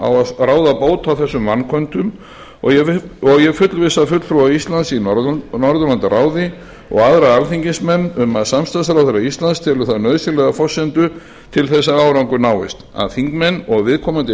á að ráða bót á þessum vanköntum og ég vil fullvissa fulltrúa íslands í norðurlandaráði og aðra alþingismenn um að samstarfsráðherra íslands telur það nauðsynlega forsendu þess að árangur náist að þingmenn og viðkomandi